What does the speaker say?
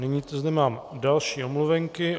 Nyní zde mám další omluvenky.